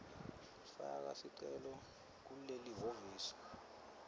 faka sicelo kulelihhovisi